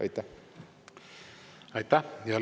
Aitäh!